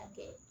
A bɛɛ